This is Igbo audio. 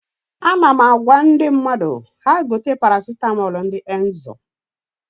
Ana m agwa ndị mmadụ ha gote paracitamọl ndị Emzor